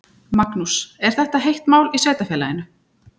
Magnús: Er þetta heitt mál í sveitarfélaginu?